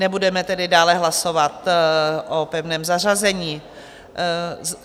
Nebudeme tedy dále hlasovat o pevném zařazení.